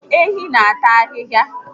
Ehi n'ata ahịhịa